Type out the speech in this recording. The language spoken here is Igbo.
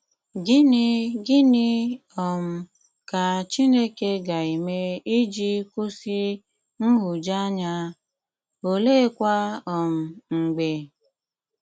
Gịnị Gịnị um ka Chìnékè ga-eme iji kwụsị nhụjuanya, oleekwa um mg̀bè?